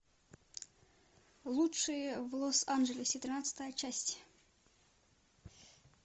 лучшие в лос анджелесе тринадцатая часть